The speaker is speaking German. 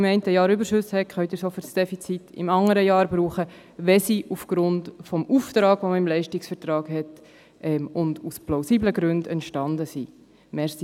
Wenn Sie im einen Jahr Überschüsse haben, können Sie diese für die Deckung des Defizits im anderen Jahr brauchen, wenn sie aufgrund des Auftrags, der gemäss Leistungsvertrag besteht, und aus plausiblen Gründen entstanden sind.